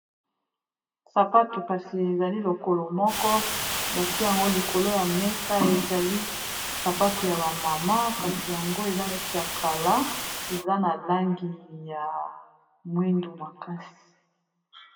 Sapatu kasi ezali lokolo moko bati yango likolo ya mesa ezali sapatu ya bamama kasi yango eza neti ya kala eza na langi ya mwindu makasi.